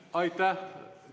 Aitäh!